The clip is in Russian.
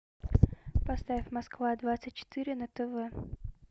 поставь москва двадцать четыре на тв